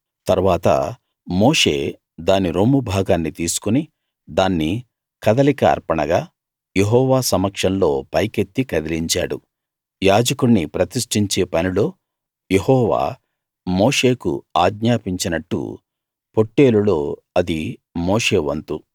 తరువాత మోషే దాని రొమ్ము భాగాన్ని తీసుకుని దాన్ని కదలిక అర్పణగా యెహోవా సమక్షంలో పైకెత్తి కదిలించాడు యాజకుణ్ణి ప్రతిష్టించే పనిలో యెహోవా మోషేకు ఆజ్ఞాపించినట్టు పొట్టేలులో అది మోషే వంతు